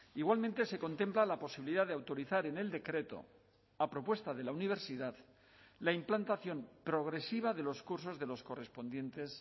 igualmente se contempla la posibilidad de autorizar en el decreto a propuesta de la universidad la implantación progresiva de los cursos de los correspondientes